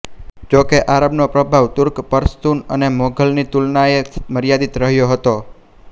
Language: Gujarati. જો કે આરબનો પ્રભાવ તુર્ક પશ્તુન અને મોઘલની તુલનાએ મર્યાદિત રહ્યો હતો